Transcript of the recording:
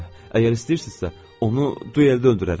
Hə, əgər istəyirsinizsə, onu dueldə öldürərəm.